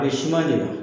A ye siman de la